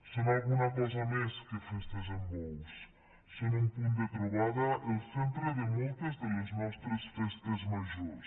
són alguna cosa més que festes amb bous són un punt de trobada el centre de moltes de les nostres festes majors